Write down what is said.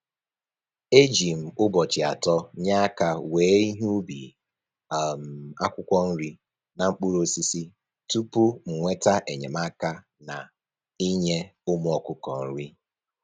E ji m ụbọchị atọ nye aka wee ihe ubi um akwụkwọ nri na mkpụrụosisi tupu m nweta enyemaka na-inye ụmụ ọkụkọ nri